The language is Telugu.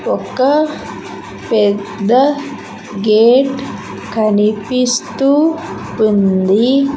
ఒక పెద్ద గేట్ కనిపిస్తూ ఉంది.